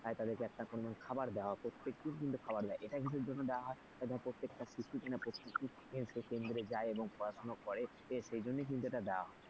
আজ একটা পরিমাণ খাবার দেওয়া প্রতেককেই কিন্তু খাবার দেয় এটা কিসের জন্য দেয়া হয় প্রতেকটা শিশু শিশু কেন্দ্রে যায় এবং পড়াশোনা করে সেই জন্য কিন্তু এটা দেয়া হয়।